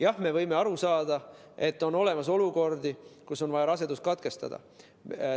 Jah, me võime aru saada, et on olemas olukordi, kus on vaja rasedus katkestada.